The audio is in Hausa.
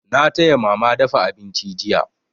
Na taya mama dafa abinci jiya.